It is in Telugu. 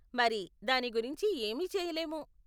మరి, దాని గురించి ఏమీ చేయలేము .